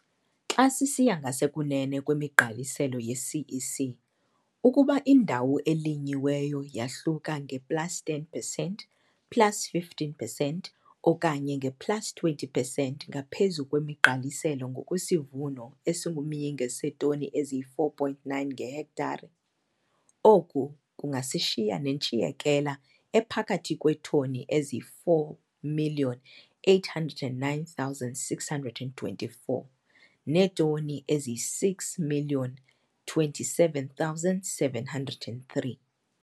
Xa sisiya ngasekunene kwemigqaliselo yeCEC, ukuba indawo elinyiweyo yahluka nge-plus 10 percent, plus 15 percent okanye nge-plus 20 percent ngaphezu kwemigqaliselo ngokwesivuno esingumyinge seetoni eziyi-4 point 9 ngehektare, oku kungasishiya nentshiyekela ephakathi kweetoni ezingama-4 809 624 neetoni eziyi-6 027 703.